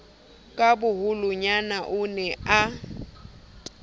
ka boholonyana o ne a